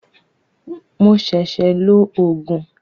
Mo ṣẹ̀ṣẹ̀ lo Ògùn